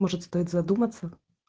может стоит задуматься